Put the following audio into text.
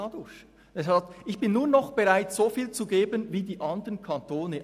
Er sagt, er sei nur noch bereit, so viel zu geben wie die anderen Kantone.